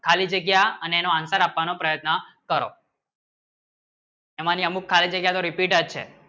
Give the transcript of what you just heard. ખાલી જગ્યા અને એનો answer આપવાનો પ્રયત્ન કરો એમાંની અમુક ખાલી જગ્યા repeat ચ છે